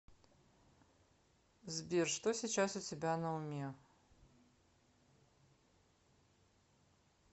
сбер что сейчас у тебя на уме